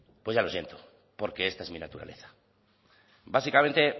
pues ya lo siento porque esta es mi naturaleza básicamente